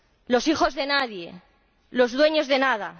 Los hijos de nadie, los dueños de nada.